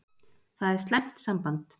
Það er slæmt samband.